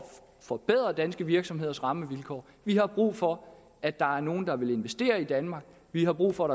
forbedre danske virksomheders rammevilkår vi har brug for at der er nogle der vil investere i danmark vi har brug for